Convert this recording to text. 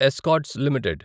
escorts limited